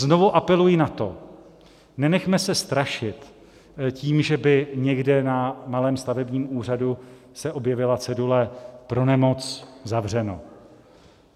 Znovu apeluji na to, nenechme se strašit tím, že by někde na malém stavebním úřadu se objevila cedule "pro nemoc zavřeno".